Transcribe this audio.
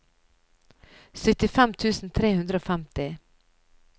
syttifem tusen tre hundre og femti